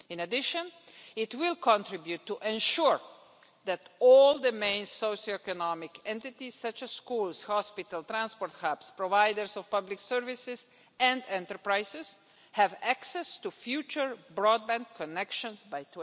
In addition, it will contribute to ensure that all the main socio economic entities, such as schools, hospitals, transport hubs, providers of public services and enterprises have access to future broadband connections